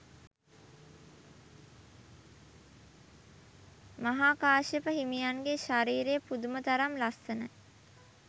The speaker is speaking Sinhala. මහා කාශ්‍යප හිමියන්ගේ ශරීරය පුදුම තරම් ලස්සනයි.